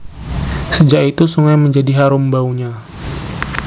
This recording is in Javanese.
Sejak itu sungai menjadi harum baunya